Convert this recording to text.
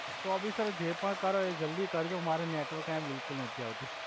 તો ભી સર જે પણ કરો એ જલ્દી કર્જો મારે નેટવર્ક આયા બિલ્કુલ નથી આવ્તુ